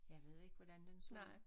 Jeg ved ikke hvordan den så ud